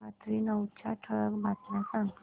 रात्री नऊच्या ठळक बातम्या सांग